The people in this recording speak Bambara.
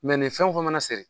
Mɛ nin fɛn o fɛn mana seri